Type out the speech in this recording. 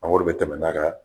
A wɔri bɛ tɛmɛ n'a ka